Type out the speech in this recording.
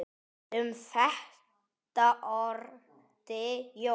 Um þetta orti Jón